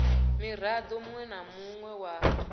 mirado munwe na munwe wa